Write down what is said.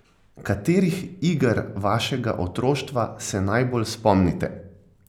Katerih iger vašega otroštva se najbolj spomnite?